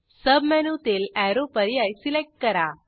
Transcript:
सबमेनूतील arrow पर्याय select करा